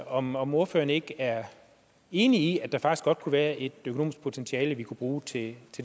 om om ordføreren ikke er enig i at der faktisk godt kunne være et økonomisk potentiale vi kunne bruge til det